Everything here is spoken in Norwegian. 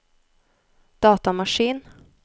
datamaskin